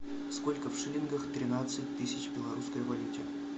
сколько в шиллингах тринадцать тысяч в белорусской валюте